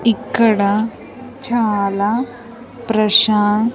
ఇక్కడ చాలా ప్రశాం--